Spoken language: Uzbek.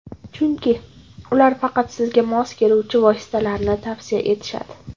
Chunki, ular faqat sizga mos keluvchi vositalarni tavsiya etishadi.